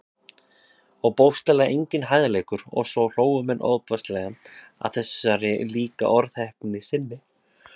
Og bókstaflega enginn hægðarleikur- og svo hlógu menn ofboðslega að þessari líka orðheppni sinni.